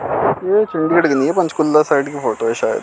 Panchkula side की photo है शायद--